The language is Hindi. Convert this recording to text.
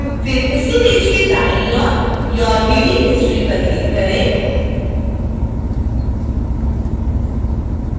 फिर उसी पेज के दाईं ओर your reading history पर click करें